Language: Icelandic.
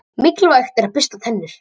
Mikilvægt er að bursta tennur.